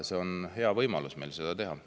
See on hea võimalus seda teha.